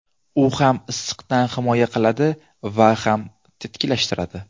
U ham issiqdan himoya qiladi va ham tetiklashtiradi.